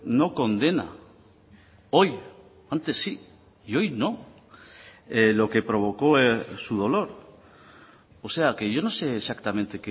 no condena hoy antes sí y hoy no lo que provocó su dolor o sea que yo no sé exactamente